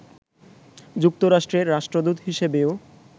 যুক্তরাষ্ট্রের রাষ্ট্রদূত হিসেবেও